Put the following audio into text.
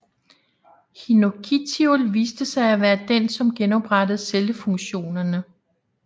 Hinokitiol viste sig af være den som genoprettede cellefunktionerne